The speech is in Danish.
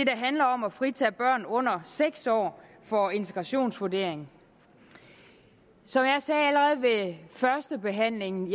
handler om at fritage børn under seks år for integrationsvurdering som jeg sagde allerede ved førstebehandlingen